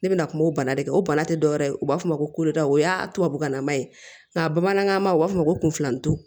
Ne bɛna kuma o bana de kan o bana tɛ dɔwɛrɛ ye u b'a fɔ ko o y'a tubabukan nama ye nka bamanankan u b'a fɔ ko kunfilan don